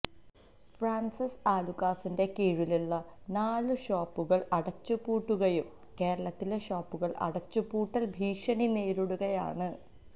Francis ആലുക്കാസിന്റെ കീഴിലുള്ള നാല് ഷോപ്പുകൾ അടച്ചു പൂട്ടുകയും കേരളത്തിലെ ഷോപ്പുകൾ അടച്ചുപൂട്ടൽ ഭീഷണി നേരിടുകയുമാണ്